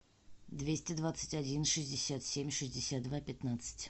двести двадцать один шестьдесят семь шестьдесят два пятнадцать